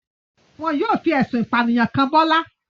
Wọn yóò fi ẹ̀sùn ìpànìyàn kàn Bọ́lá.